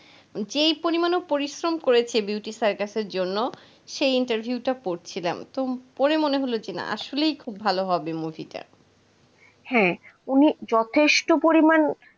যেই পরিমাণ ও পরিশ্রম করেছে beauty circus এর জন্য সেই interview টা পড়ছিলাম। তো পড়ে মনে হল যে না আসলেই খুব ভালো হবে এটা। হ্যাঁ উনি যথেষ্ট পরিমাণ